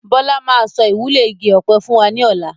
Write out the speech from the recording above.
Bọlá máa sọ ìwúlò igi ọ̀pẹ fún wa ní ọ̀la.